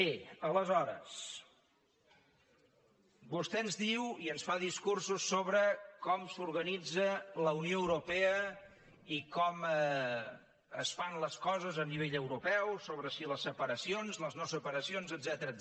bé aleshores vostè ens diu i ens fa discursos sobre com s’organitza la unió europea i com es fan les coses a nivell europeu sobre si les separacions les noseparacions etcètera